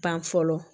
Ban fɔlɔ